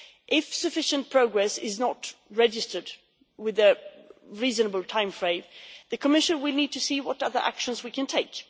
If sufficient progress is not registered within a reasonable timeframe, the Commission will need to see what other actions it can take.